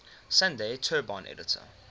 sunday tribune editor